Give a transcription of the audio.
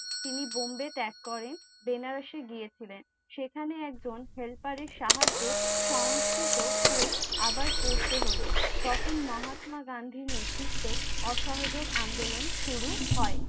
তিনি Bombay ত্যাগ করেন Banaras এ গিয়েছিলেন সেখানে একজন helper এর সাহায্যে সংস্কৃত স্কুল আবার পড়তে হলো তখন মহাত্মা গান্ধীর নেতৃত্বে অসহযোগ আন্দোলন শুরু হয়